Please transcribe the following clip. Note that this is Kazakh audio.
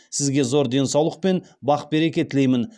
сізге зор денсаулық пен бақ береке тілеймін